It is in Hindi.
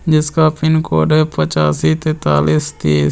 जिसका पिन कोड है पचासी तेतालीस तीस।